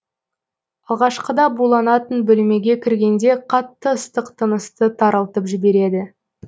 алғашқыда буланатын бөлмеге кіргенде қатты ыстық тынысты тарылтып жібереді